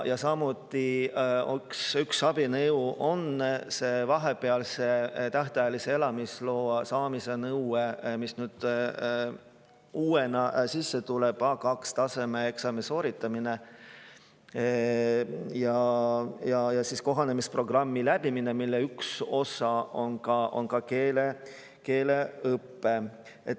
Ja üks abinõu on see vahepealse tähtajalise elamisloa saamise nõue, mis nüüd uuena sisse tuleb: A2-taseme eksami sooritamine ja kohanemisprogrammi läbimine, mille üks osa on ka keeleõpe.